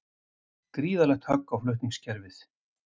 Gríðarlegt högg á flutningskerfið